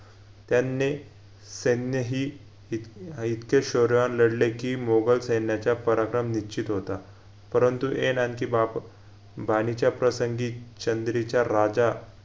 त्यांनी सैन्यही इत अह इतके शौर्यवान लढले कि मोगल सैन्याच्या पराक्रम निश्चित होता परंतु ऐन अंकींबाप बाणिच्या प्रसंगी चंद्रीच्या राजा